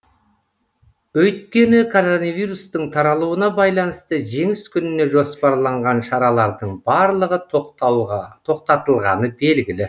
өйткені коронавирустың таралуына байланысты жеңіс күніне жоспарланған шаралардың барлығы тоқтатылғаны белгілі